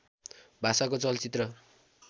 भाषाको चलचित्र